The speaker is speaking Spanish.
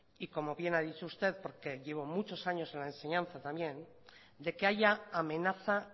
y como bien ha dicho usted porque llevo muchos años en la enseñanza también de que haya amenaza